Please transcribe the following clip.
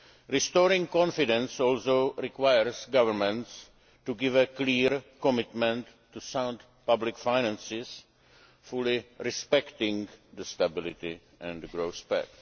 Restoring confidence also requires governments to give a clear commitment to sound public finances, fully respecting the Stability and Growth Pact.